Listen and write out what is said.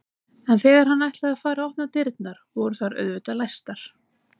En þegar hann ætlaði að fara að opna dyrnar voru þær auðvitað læstar.